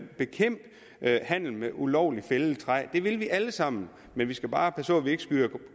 bekæmpe handel med ulovligt fældet træ det vil vi alle sammen men vi skal bare passe på at vi ikke skyder